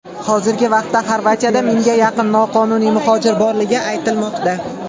Hozirgi vaqtda Xorvatiyada mingga yaqin noqonuniy muhojir borligi aytilmoqda.